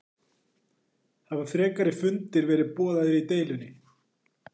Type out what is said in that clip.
Hafa frekari fundir verið boðaðir í deilunni?